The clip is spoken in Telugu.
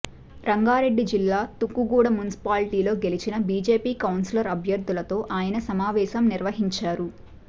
రంగారెడ్డి జిల్లా తుక్కుగూడ మున్సిపాలిటీలో గెలిచిన బీజేపీ కౌన్సిలర్ అభ్యర్థులతో ఆయన సమావేశం నిర్వహించారు